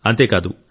అంతేకాదు